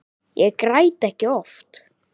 Ég græt ekki oft.